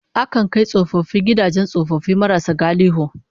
Akan kai tsofaffi gidajen tsofaffi marasa galihu